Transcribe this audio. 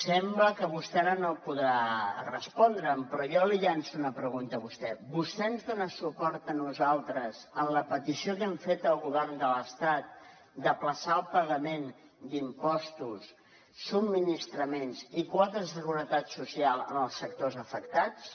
sembla que vostè ara no podrà respondre’m però jo li llanço una pregunta a vostè vostè ens dona suport a nosaltres en la petició que hem fet al govern de l’estat d’ajornar el pagament d’impostos subministraments i quotes de seguretat social en els sectors afectats